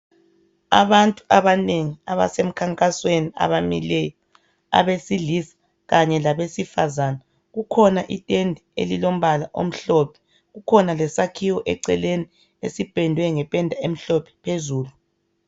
Abantu abanengi abasemkhankasweni abamileyo, abesilisa kanye labesifazane kukhona itende elilombala omhlophe kukhona lesakhiwo eceleni esipendwe ngependa emhlophe phezulu.